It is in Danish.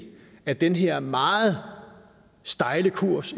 at den her meget stejle kurs